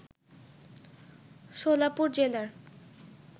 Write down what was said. সোলাপুর জেলার